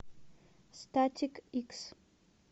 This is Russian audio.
статик икс